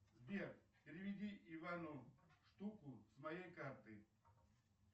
сбер переведи ивану штуку с моей карты